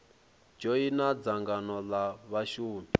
dzhoina dzangano l a vhashumi